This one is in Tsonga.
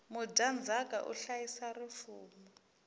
mudyandzaka u hlayisa rifumo